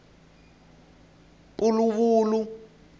puluvulu